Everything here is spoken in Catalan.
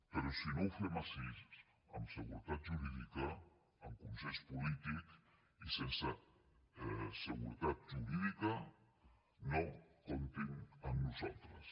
però si no ho fem així amb seguretat jurídica amb consens polític i sense seguretat jurídica no comptin amb nosaltres